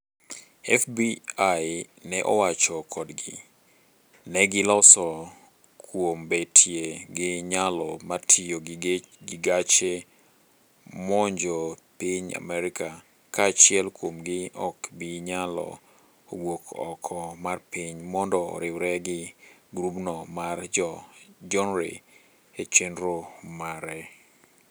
FBI ne owacho kodgi, negi loso kuom betie gi nyalo mar tiyo gi gache monjo piny Amerka, ka achiel kuom gi ok bi nyalo wuok oko mar piny mondo oriwre gi grub no mar jo jonre e chenro mare.